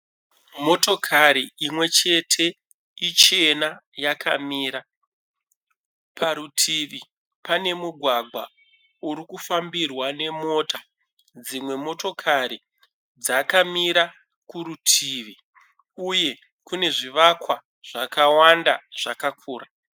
Motokari imwechete. Ichena yakamira. Parutivi pane mugwagwa urikufambirwa nemota. Dzimwe motokari dzakamira kurutivi uye kune zvivakwa zvakawanda zvakakura.